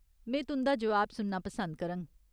में तुं'दा जवाब सुनना पसंद करङ।